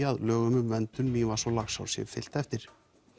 að lögum um verndun Mývatns og Laxár sé fylgt eftir